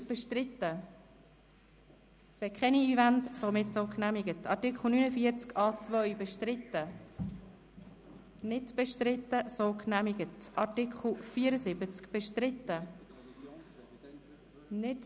Ich brauche mehr Ruhe, um zu fragen, ob dies bestritten ist oder nicht, sonst sehe ich es nicht.